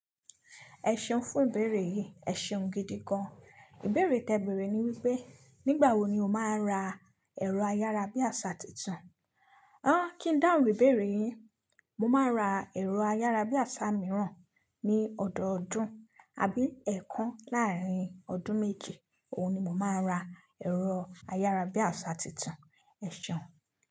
Ẹ ṣeun fún ìbéèrè yìí, ẹ ṣeun gidi gan. Ìbéèrè tí ẹ bèrè ni wípé nígbà wo ni o máa ra ẹ̀rọ ayárabíàṣá tuntun. O. Kí n dáhùn ìbéèrè yín, mo máa ra ẹ̀rọ ayárabíàṣá mìíràn ní ọ̀dọọdún àbí ẹẹkan láàrín ọdún méji Óun ni mo máa ra ẹ̀rọ ayárabíàṣá tuntun, ẹ ṣeun.